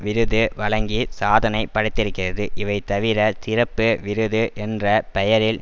விருது வழங்கி சாதனை படைத்திருக்கிறது இவைதவிர சிறப்பு விருது என்ற பெயரில்